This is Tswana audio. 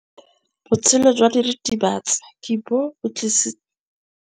Botshelo jwa diritibatsi ke bo tlisitse mathata mo basimaneng ba bantsi.